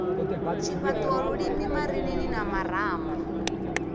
tshifhaṱuwo lulimi marinini na marama